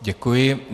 Děkuji.